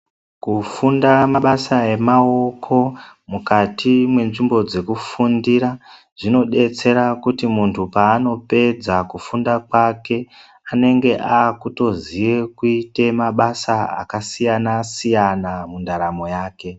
Kufunda mabasa emaoko mukati me nzvimbo dzeku fundira zvino detsera kuti muntu paano pedza kufunda kwake anenge akutoziye kuite mabasa aka siyana siyana mundaramo yake.